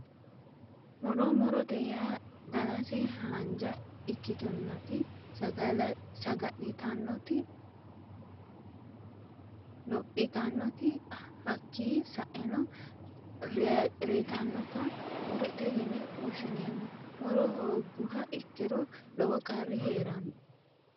Muro murote yaa danase haanja ikkitinoti saga'litannoti lophitannoti hakkii sa'eno reetannota murote yine woshshineemmo muro hoogguha ikkiro lowo qarri heeranno